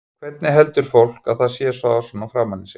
Hvernig heldur fólk að það sé að fá svona framan í sig?